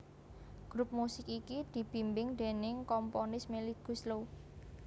Grup musik iki dibimbing déning komponis Melly Goeslaw